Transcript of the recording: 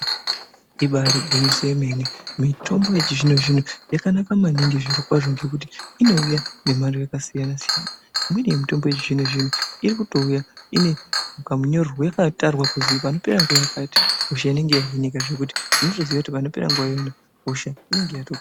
Ibari gwinyiso remene mitombo yechizvino zvino yakanaka maningi zviro kwazvo ngekuti inouya nemhando yakasiyana siyana. Imweni yemitombo yechizvino zvino inouya inekamunyorerwe yakatarwa kuzi panopera nguwa yakati hosha inenge hahinika zvekuti unotoziya kuti panopera nguwa iyona hosha inenge yatopera.